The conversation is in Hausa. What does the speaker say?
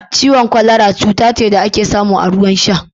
Ciwon kwalara cuta ce da ake samu a ruwan sha